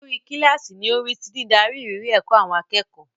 Olórí kíláàsì ni ó ń rí sí dídarí ìrírí ẹ̀kọ́ àwọn akẹ́kọ̀ọ́.